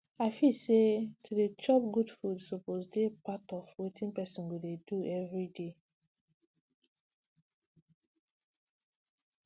i feel say to dey dey chop good food suppose dey part of wetin people go dey do every day